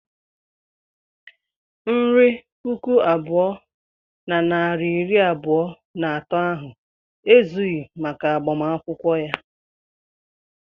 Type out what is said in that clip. Nri puku abụọ na narị iri abụọ na atọ ahụ ezughị maka agbamakwụkwọ ya.